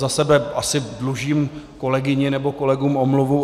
Za sebe asi dlužím kolegyni nebo kolegům omluvu.